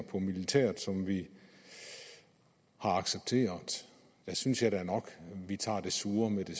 på militæret som vi har accepteret der synes jeg da nok at vi tager det sure med det